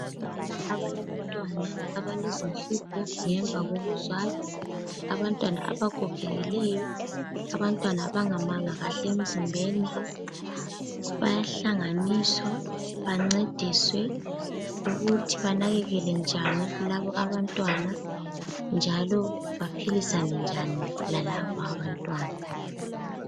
Omama abalabantwana abale zinhlupho ngemva kokuzalwa. Abantwana abagogekileyo, abantwana abangamanga kahle emzimbeni. Bayahlanganiswa bancediswe ukuthi banakekele njani labo abantwana njalo baphilisane njani lalabo abantwana.